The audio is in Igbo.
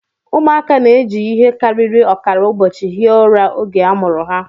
Ụmụaka na-eji ihe karịrị ọkara ụbọchị hie ụra oge a mụrụ ha